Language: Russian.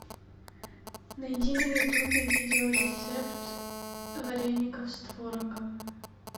найди на ютубе видео рецепт вареников с творогом